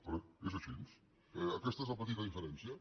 perdoni és així aquesta és la petita diferència